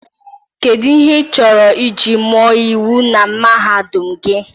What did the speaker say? Kedu ihe achọrọ iji mụọ iwu na mahadum gị?